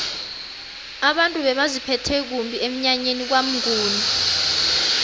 abantu bebaziphethe kumbi emnyanyeni kwamnguni